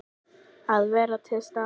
Að vera til staðar.